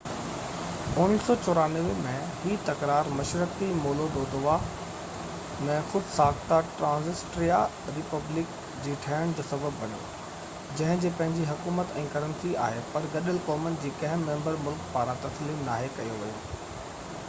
1994 ۾ هي تڪرار مشرقي مولودووا ۾ خود-ساخته ٽرانسنسٽريا ريپبلڪ جي ٺهڻ جو سبب بڻيو جنهن جي پنهنجي حڪومت ۽ ڪرنسي آهي پر گڏيل قومن جي ڪنهن ميمبر ملڪ پاران تسليم ناهي ڪيو ويو